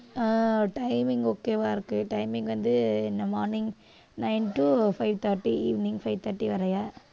அஹ் timing okay வா இருக்கு timing வந்து in the morning nine to five thirty evening five thirty வரைய